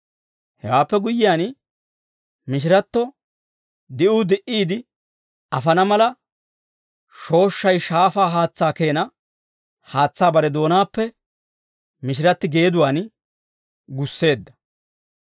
Hewaappe guyyiyaan, mishiratto di'uu di"iide afana mala, shooshshay shaafaa haatsaa keena haatsaa bare doonaappe mishiratti geeduwaan gusseedda.